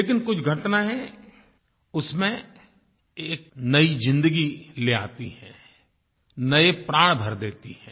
लेकिन कुछ घटनायें उसमें एक नई ज़िंदगी ले आती हैं नये प्राण भर देती हैं